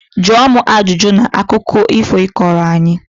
Jụọ m ajụjụ na akụkọ ifo ị kọrọ anyị!